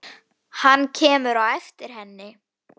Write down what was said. Hann kemur á eftir henni.